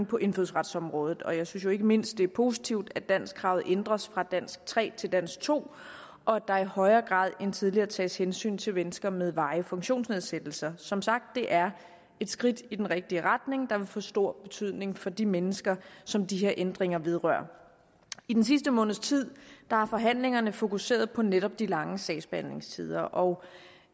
på indfødsretsområdet og jeg synes ikke mindst det er positivt at danskkravet ændres fra dansk tre til dansk to og at der i højere grad end tidligere tages hensyn til mennesker med varig funktionsnedsættelse som sagt er et skridt i den rigtige retning der vil få stor betydning for de mennesker som de her ændringer vedrører i den sidste måneds tid har forhandlingerne fokuseret på netop de lange sagsbehandlingstider og